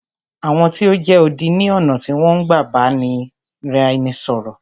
Àwọn tí o jẹ́ odi ni ọ̀nà tí wọn n gbá ni ìbáraẹnisọ̀rọ̀.